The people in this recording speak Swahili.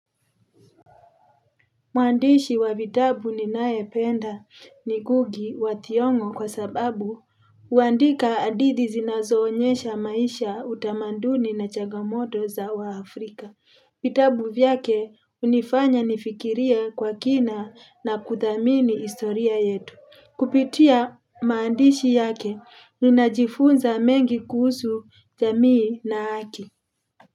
Mwandishi wa vitabu ninayependa ni Ngugi wa Thiongo. Kwa sababu huandika hadithi zinazoonyesha maisha, utamanduni na changamoto za Waafrika. Vitabu vyake hunifanya nifikiria kwa kina na kuthamini historia yetu. Kupitia maandishi yake, ninajifunza mengi kuhusu jamii na haki.